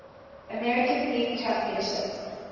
american league championship